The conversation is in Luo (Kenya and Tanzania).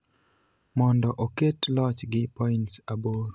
mondo oket loch gi points aboro